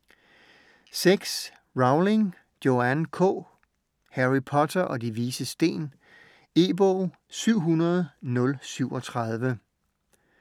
Rowling, Joanne K.: Harry Potter og De Vises Sten E-bog 700037